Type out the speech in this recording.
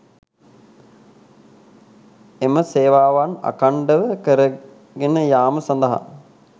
එම සේවාවන් අඛණ්ඩව කරගෙන යාම සඳහා